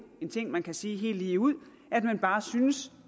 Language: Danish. en ting man kan sige helt lige ud at man bare synes